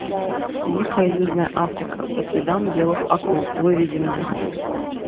дикая южная африка по следам белых акул выведи мне